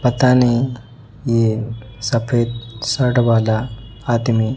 पता नहीं ये सफेद शर्ट वाला आदमी--